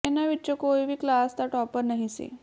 ਇਨ੍ਹਾਂ ਵਿਚੋਂ ਕੋਈ ਵੀ ਕਲਾਸ ਦਾ ਟਾਪਰ ਨਹੀਂ ਸੀ